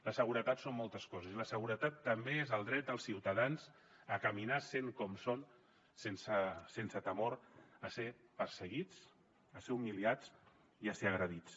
la seguretat són moltes coses i la seguretat també és el dret dels ciutadans a caminar sent com són sense temor a ser perseguits a ser humiliats i a ser agredits